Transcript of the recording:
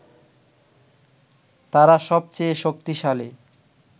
তারা সবচেয়ে শক্তিশালী